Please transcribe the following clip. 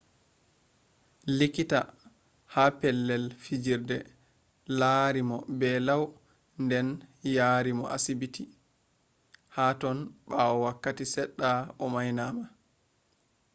likkita ha pelell fijirde larimo be lau den yariimo sibiti haton baawoo wakkati sedda o mainama